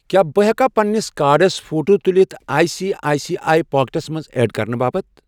کیٛاہ بہٕ ہٮ۪کا پننِس کارڑس فوٹو تُلِتھ I C I C I پاکیٚٹسَس منٛز ایڈ کرنہٕ باپتھ؟